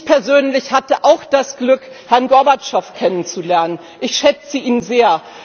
Ich persönlich hatte auch das Glück, Herrn Gorbatschow kennenzulernen, ich schätze ihn sehr.